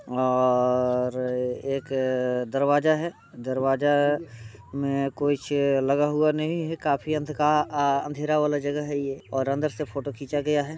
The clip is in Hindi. और एक दरवाजा है। दरवाजा में कुछ लगा हुआ नही है काफी अन्धका आ अँधेरा वाला जगह है ये और अंदर से फोटो खींचा गया है।